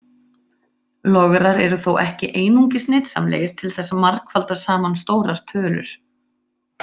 Lograr eru þó ekki einungis nytsamlegir til þess að margfalda saman stórar tölur.